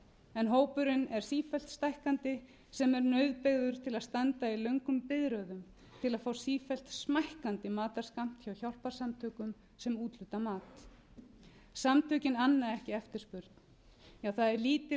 en hópurinn fer sífellt stækkandi sem er nauðbeygður til að standa í löngum biðröðum til að fá sífellt smækkandi matarskammt hjá hjálparsamtökum sem úthluta mat samtökin anna ekki eftirspurn það er lítil